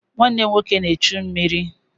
Nwanne m nwoke na-echu mmiri.